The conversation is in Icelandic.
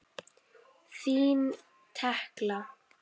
Þín Tekla.